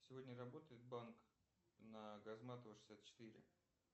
сегодня работает банк на газматова шестьдесят четыре